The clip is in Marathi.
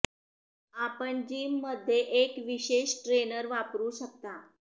आपण जिम मध्ये एक विशेष ट्रेनर वापरू शकता